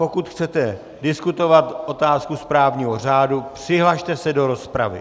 Pokud chcete diskutovat otázku správního řádu, přihlaste se do rozpravy.